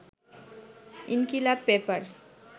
Inqilab paper